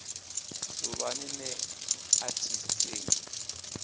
suvhani nṋe a thi sengi